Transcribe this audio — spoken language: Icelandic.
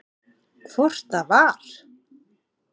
Hvort það var!